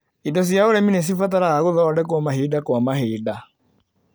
Indo cia ũrĩmi nĩcibataraga gũthondekwo mahinda kwa mahinda.